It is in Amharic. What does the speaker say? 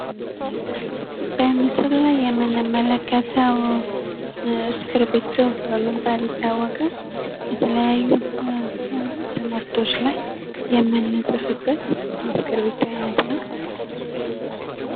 በምስሉ ላይ የምንመለከተው እስክብሪቶ በመባል ይታወቃል። የተለያዩ ትምህርቶች ላይ የምንጽፍበት የእስክብሪቶ አይነት ነው።